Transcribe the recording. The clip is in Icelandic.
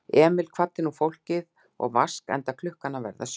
Emil kvaddi nú fólkið og Vask, enda klukkan að verða sjö.